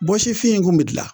Bɔsifin in kun bi gilan